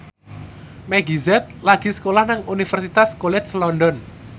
Meggie Z lagi sekolah nang Universitas College London